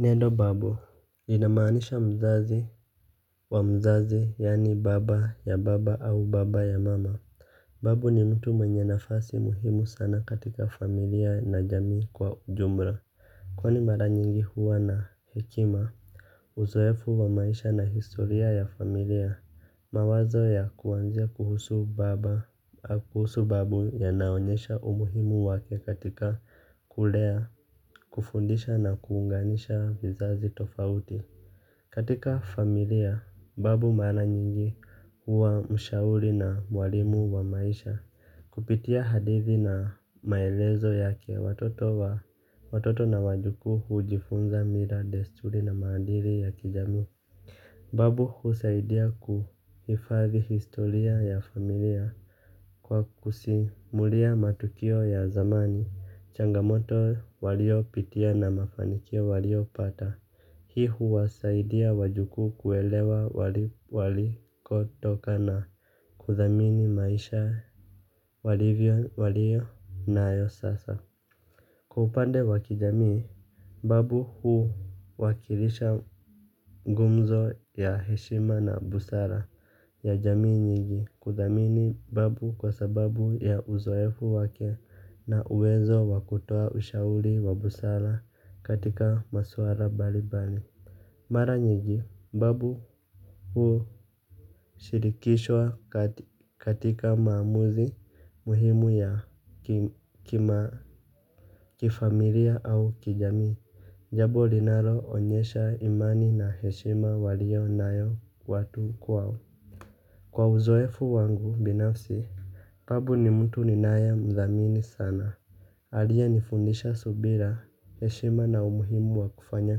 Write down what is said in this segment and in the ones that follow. Neno babu inamaanisha mzazi wa mzazi yaani baba ya baba au baba ya mama. Babu ni mtu mwenye nafasi muhimu sana katika familia na jamii kwa ujumla. Kwani mara nyingi huwa na hekima. Uzoefu wa maisha na historia ya familia, mawazo ya kuanzia kuhusu babu yanaonyesha umuhimu wake katika kulea kufundisha na kuunganisha vizazi tofauti. Katika familia, babu mara nyingi huwa mshauri na mwalimu wa maisha. Kupitia hadithi na maelezo yake watoto na wajukuu hujifunza mila, desturi na maadili ya kijamii. Babu husaidia kuhifadhi historia ya familia, kwa kusimulia matukio ya zamani, changamoto waliopitia na mafanikio waliopata. Hii huwasaidia wajukuu kuelewa walikotoka na kuthamini maisha waliyonayo sasa. Kwa upande wa kijamii, babu huwakilisha gumzo ya heshima na busara ya jamii nyingi, kuthamini babu kwa sababu ya uzoefu wake na uwezo wa kutoa ushauri wa busara katika maswala mbalimbali. Mara nyingi, babu hu shirikishwa katika maamuzi muhimu ya kima kifamilia au kijamii. Jambo linaloonyesha imani na heshima waliyonayo watu kwao. Kwa uzoefu wangu binafsi, babu ni mtu ninayemthamini sana. Aliyenifundisha subira, heshima na umuhimu wa kufanya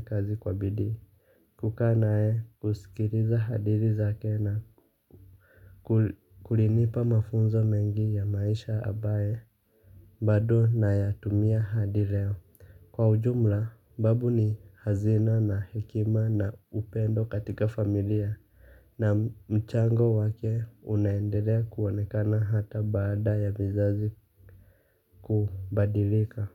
kazi kwa bidii. Kukaa naye, kusikiliza hadithi zake na kulinipa mafunzo mengi ya maisha ambaye bado nayatumia hadi leo. Kwa ujumla, babu ni hazina na hekima na upendo katika familia. Na mchango wake unaendelea kuonekana hata baada ya vizazi kubadilika.